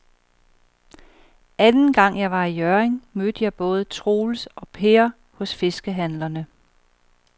Anden gang jeg var i Hjørring, mødte jeg både Troels og Per hos fiskehandlerne.